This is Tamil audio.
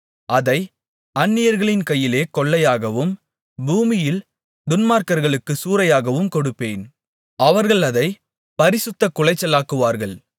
அதை அந்நியர்களின் கையிலே கொள்ளையாகவும் பூமியில் துன்மார்க்களுக்கு சூறையாகவும் கொடுப்பேன் அவர்கள் அதைப் பரிசுத்தக்குலைச்சலாக்குவார்கள்